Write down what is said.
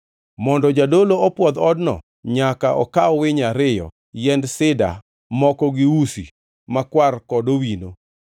Mondo jadolo opwodh odno, nyaka okaw winy ariyo, yiend sida moko gi usi makwar kod owino.